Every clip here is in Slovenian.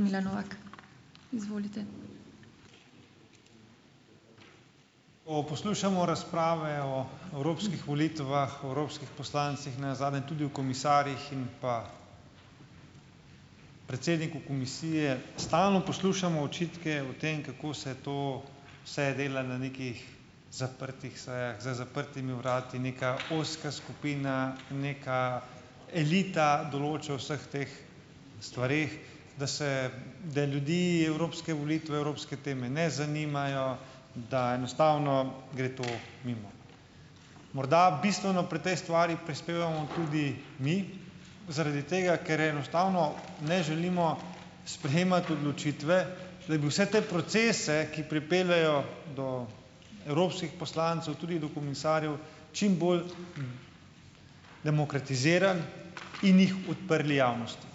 Milan Novak, izvolite. O poslušamo razprave o evropskih volitvah, evropskih poslancih, nenazadnje tudi o komisarjih in pa predsedniku komisije, stalno poslušamo očitke o tem, kako se to se dela na nekih zaprtih sejah za zaprtimi vrati neka ozka skupina, neka elita določa o vseh teh stvareh, da se, da ljudi evropske volitve, evropske teme ne zanimajo, da enostavno gre to mimo, morda bistveno pri tej stvari prispevamo tudi mi, zaradi tega ker enostavno ne želimo sprejemati odločitve legu se te procese, ki pripeljejo do evropskih poslancev tudi do komisarjev, čimbolj demokratizira in jih odprli javnosti,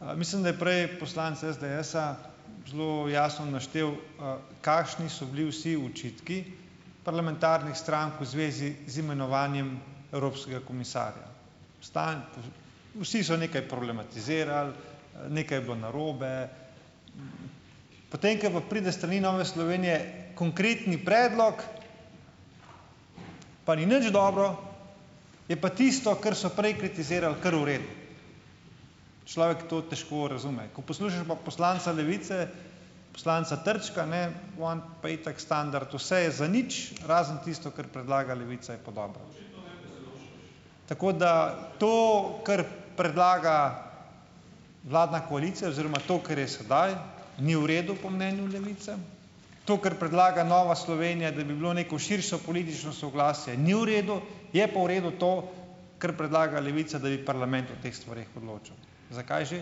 mislim, da je prej poslanec SDS-a zelo jasno naštel, kakšni so bili vsi očitki parlamentarnih strank v zvezi z imenovanjem evropskega komisarja stanj, vsi so nekaj problematizirali, nekaj je bilo narobe, potem ko pa pride s strani Nove Slovenije konkretni predlog, pa ni nič dobro, je pa tisto, kar so prej kritizirali, kar v redu, človek to težko razume, ko poslušaš pa poslanca Levice, poslanca Trčka, ne, on pa itak standard, vse je zanič, razen tisto, kar predlaga Levica, je pa dobro tako da to, kar predlaga vladna koalicija, oziroma to, kar je sedaj ni v redu po mnenju Levice, to, kar predlaga Nova Slovenija, da bi bilo neko širšo politično soglasje, ni v redu, je pa v redu to, kar predlaga Levica, da bi parlament o teh stvareh odločal, zakaj že,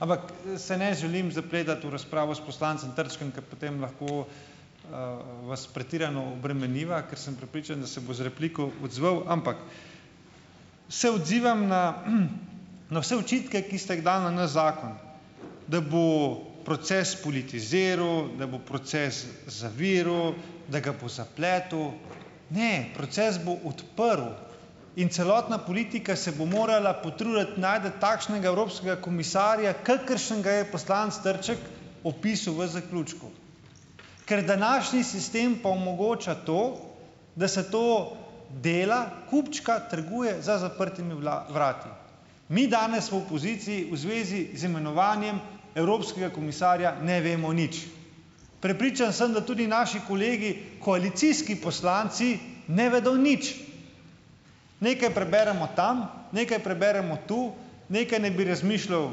ampak se ne želim zapletati v razpravo s poslancem Trčkom, ker potem lahko, vas pretirano obremeniva, ker sem prepričan, da se bo z repliko odzval, ampak se odzivam na na vse očitke, ki ste jih dali na naš zakon, da bo proces politiziral, da bo proces zaviral, da ga bo zapletel, ne, proces bo odprl in celotna politika se bo morala potruditi najti takšnega evropskega komisarja, kakršnega je poslanec Trček opisal v zaključku, ker današnji sistem pa omogoča to, da se to dela, kupčka trguje za zaprtimi vrati, mi danes v opoziciji v zvezi z imenovanjem evropskega komisarja ne vemo nič, prepričan sem, da tudi naši kolegi koalicijski poslanci ne vedo nič, nekaj preberemo tam, nekaj preberemo tu, nekaj naj bi razmišljal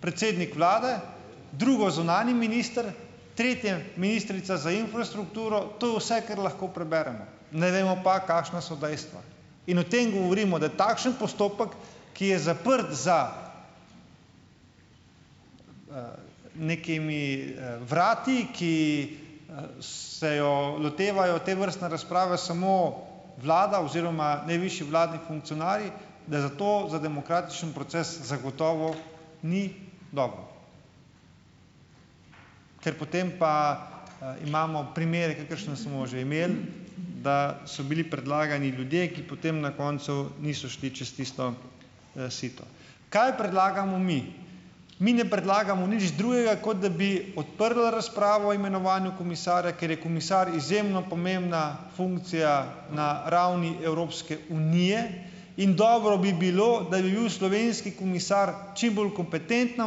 predsednik vlade, drugo zunanji minister, tretje ministrica za infrastrukturo, to vse, kar lahko preberemo, ne vemo pa, kakšna so dejstva, in o tem govorimo, da je takšen postopek, ki je zaprt za nekimi vrati, ki se jo lotevajo tovrstne razprave, samo vlada oziroma najvišji vladni funkcionarji, da zato za demokratični proces zagotovo ni dobro, ker potem pa, imamo primere, kakršne smo že imeli, da so bili predlagani ljudje, ki potem na koncu niso šli čez tisto, sito, kaj predlagamo mi, mi ne predlagamo nič drugega, kot da bi odprla razpravo imenovanju komisarja, ker je komisar izjemno pomembna funkcija na ravni Evropske unije, in dobro bi bilo, da bi bil slovenski komisar čimbolj kompetentna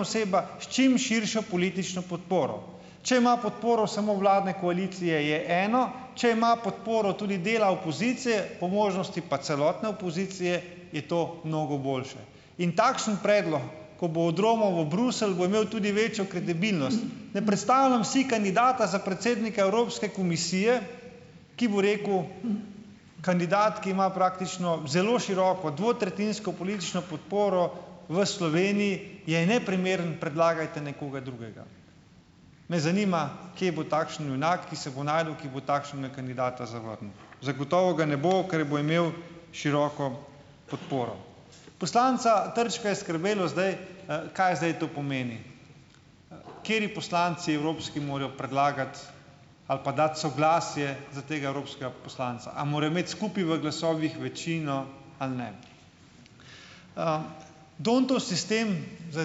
oseba s čim širšo politično podporo, če ima podporo samo vladne koalicije, je eno, če ima podporo tudi dela opozicije, po možnosti pa celotne opozicije, je to mnogo boljše, in takšen predlog, ko bo odromal v Bruselj, bo imel tudi večjo kredibilnost, ne predstavljam si kandidata za predsednika Evropske komisije, ki bo rekel: "Kandidat, ki ima praktično zelo široko, dvotretjinsko politično podporo v Sloveniji, je neprimeren, predlagajte nekoga drugega." Me zanima, kje bo takšen junak, ki se bo našel, ki bo takega kandidata zavrnil, zagotovo ga ne bo, ker bo imel široko podporo, poslanca Trčka je skrbelo zdaj, kaj zdaj to pomeni, kateri poslanci evropski morajo predlagati ali pa dati soglasje za tega evropskega poslanca, a morajo imeti skupaj v glasovih večino ali ne, d'Hondtov sistem za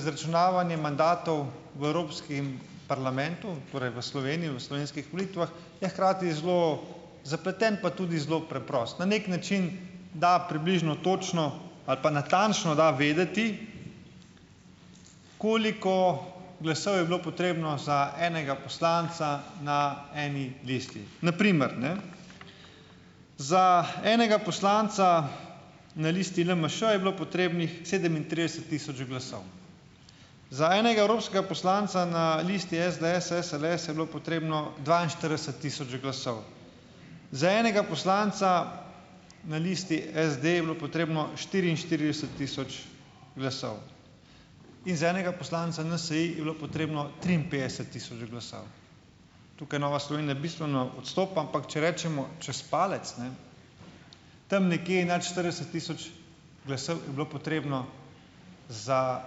izračunavanje mandatov v evropskem parlamentu, torej v Sloveniji v slovenskih volitvah, je hkrati zelo zapleten pa tudi zelo preprost na neki način, da približno točno ali pa natančno da vedeti, koliko glasov je bilo potrebno za enega poslanca na eni lestvi na primer, ne, za enega poslanca na listi LMŠ je bilo potrebnih sedemintrideset tisoč glasov, za enega evropskega poslanca na listi SDS-SLS je bilo potrebno dvainštirideset tisoč glasov za enega poslanca, na listi SD je bilo potrebno štiriinštirideset tisoč glasov in za enega poslanca NSi je bilo potrebno triinpetdeset tisoč glasov, tukaj Nova Slovenija bistveno odstopa, ampak če rečemo čez palec, ne, tam nekaj nad štirideset tisoč glasov je bilo potrebno za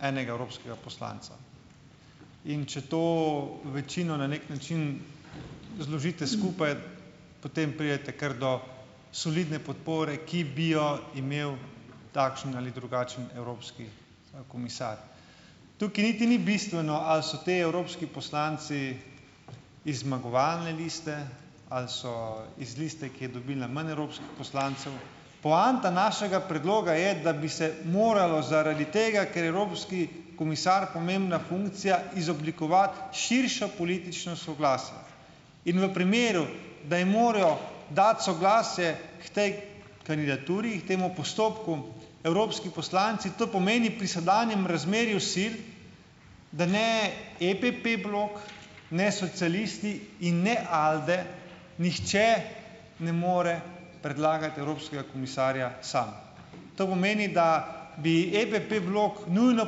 enega evropskega poslanca, in če to večino na neki način zložite skupaj, potem pridete kar do solidne podpore, ki bi jo imel takšen ali drugačen evropski komisar, tukaj niti ni bistveno, ali so ti evropski poslanci iz zmagovalne liste ali so iz liste, ki je dobila manj evropskih poslancev, poanta našega predloga je, da bi se moralo zaradi tega, ker evropski komisar pomembna funkcija, izoblikovati širšo politično soglasje in v primeru, da je morajo dati soglasje k tej kandidaturi, k temu postopku, evropski poslanci, to pomeni pri sedanjem razmerju sil da ne EPP blok ne socialisti in ne ALDE, nihče ne more predlagati evropskega komisarja sam, to pomeni, da bi EPP blok nujno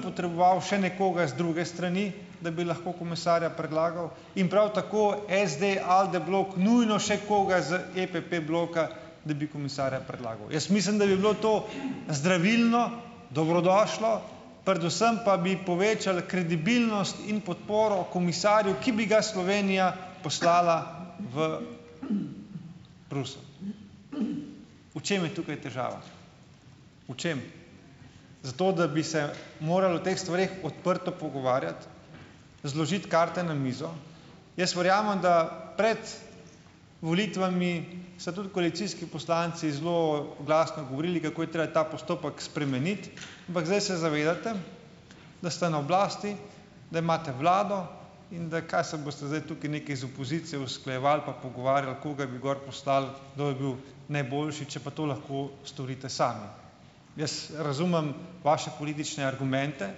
potreboval še nekoga iz druge strani, da bi lahko komisarja predlagal, in prav tako SD-ALDE blok nujno še koga z EPP bloka, da bi komisarja predlagal, jaz mislim, da bi bilo to zdravilno, dobrodošlo, predvsem pa bi povečali kredibilnost in podporo komisarju, ki bi ga Slovenija poslala v Bruselj. V čem je tukaj težava, v čem? Zato da bi se morali o teh stvareh odprto pogovarjati, zložiti karte na mizo, jaz verjamem, da pred volitvami so tudi koalicijski poslanci zelo glasno govorili, kako je treba ta postopek spremeniti, ampak zdaj se zavedate, da ste na oblasti, da imate vlado in da kaj se boste zdaj tukaj nekaj z opozicijo usklajevali pa pogovarjali, koga bi gor poslali, kdo je bil najboljši, če pa to lahko storite sami, jaz razumem vaše politične argumente,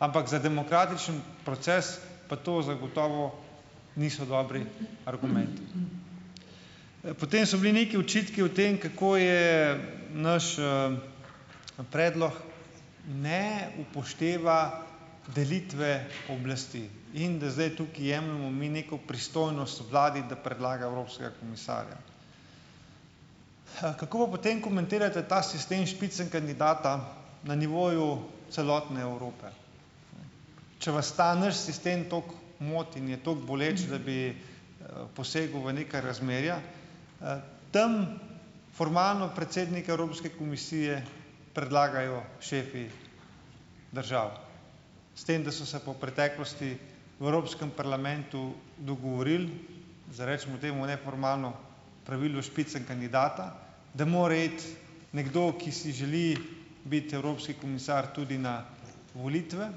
ampak za demokratični proces pa to zagotovo niso dobri argumenti, potem so bili neki očitki o tem, kako je naš, predlog ne upošteva delitve oblasti in da zdaj tukaj jemljemo mi neko pristojnost vladi, da predlaga evropskega komisarja. H kako pa potem komentirate ta sistem spitzenkandidata na nivoju celotne Evrope, če vas ta nič sistem toliko moti in je toliko boleč, da bi posegel v neka razmerja, tam formalno predsednik Evropske komisije predlagajo šefi državo, s tem, da so se pa v preteklosti v evropskem parlamentu dogovorili za recimo temu neformalno pravilo o spitzenkandidatu, da mora iti nekdo, ki si želi biti evropski komisar tudi na volitve,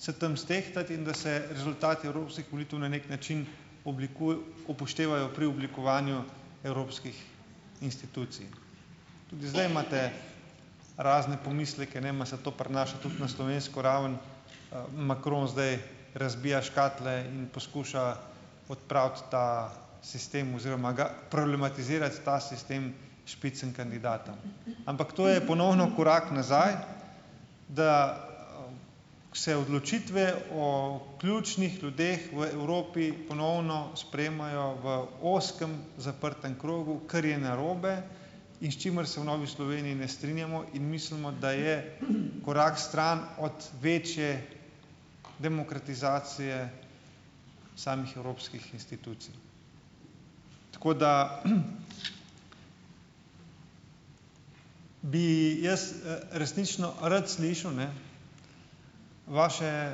se tam stehtati in da se rezultati evropskih volitev na neki način upoštevajo pri oblikovanju evropskih institucij, že zdaj imate razne pomisleke ne vem, a se to pri nas tudi na slovensko raven, Macron zdaj razbija škatle in poskuša odpraviti ta sistem oziroma ga problematizira ta sistem spitzenkandidata, ampak to je ponovno korak nazaj, da se odločitve o ključnih ljudeh v Evropi ponovno sprejemajo v ozkem zaprtem krogu, kar je narobe in s čimer se v Novi Sloveniji ne strinjamo, in mislimo, da je korak stran od večje demokratizacije samih evropskih institucij, tako da bi jaz, resnično rad slišal, ne, vaše,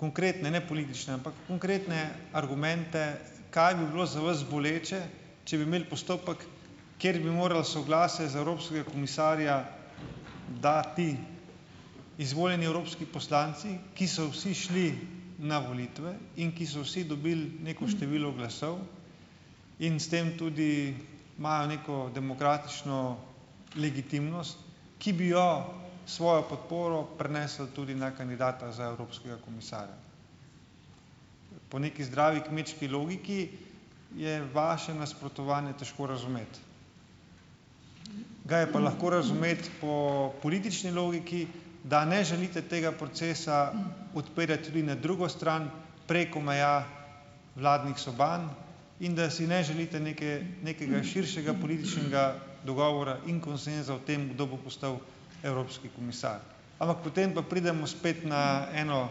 konkretne ne politične, ampak konkretne argumente, kaj bi bilo za vas boleče, če bi imeli postopek, kjer bi morali soglasje za evropskega komisarja dati izvoljeni evropski poslanci, ko so vsi šli na volitve in ki so vsi dobili neko število glasov in s tem tudi imajo neko demokratično legitimnost, ki bi jo svojo podporo prenesli tudi na kandidata za evropskega komisarja, po nekaj zdravi kmečki logiki je vaše nasprotovanje težko razumeti, ga je pa lahko razumeti po politični logiki, da ne želite tega procesa odpirati tudi na drugo stran preko meja vladnih soban in da si ne želite neke nekega širšega političnega dogovora in konsenza o tem, kdo bo postal evropski komisar, ampak potem pa pridemo spet na eno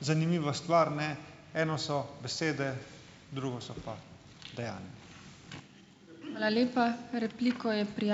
zanimivo stvar, ne, eno so besede, drugo so pa dejanja. Hvala lepa, repliko je ...